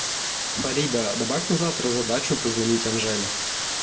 фарида добавь на завтра задачу позвонить анжеле